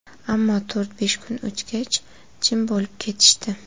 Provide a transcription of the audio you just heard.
Ammo to‘rt–besh kun o‘tgach, jim bo‘lib ketishdi.